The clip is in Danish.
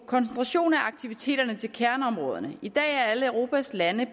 koncentration af aktiviteterne til kerneområderne i dag er alle europas lande